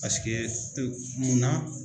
Paseke munna.